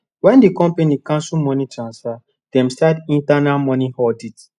when the company cancel money transfer dem start internal money audit